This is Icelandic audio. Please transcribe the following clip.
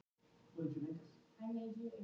Tekist hefur að búa til fjölliður sem leiða allvel.